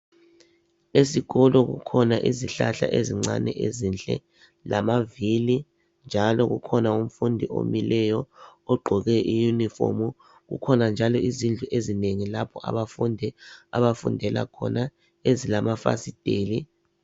Esikolo kukhona izihlahla ezincane ezinhle lamavili njalo kukhona umfundi omileyo ogqoke iyunifomu. Kukhona njalo izindlu ezinengi lapho abafundi abafundela khona ezilamafasiteli.